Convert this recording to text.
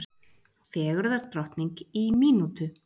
Fegurðardrottning í mínútu